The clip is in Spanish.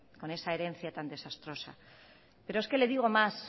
con esa herencia tan desastrosas pero es que le digo más